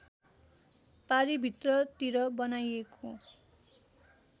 पारी भित्रतिर बनाइएको